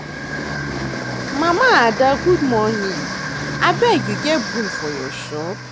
Mama Ada good morning, abeg you get broom for your shop.